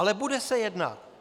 Ale bude se jednat.